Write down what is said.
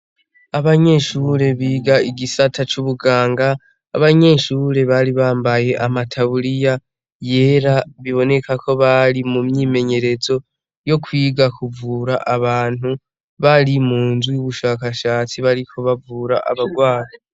Abanyeshurure biga igisata c'ubuganga abanyenshurure bari bambaye amataburiya yera biboneka ko bari mu myimenyerezo yo kwiga kuvura abantu bari mu nzu y'ubushakashatsi bariko bavura abarwana.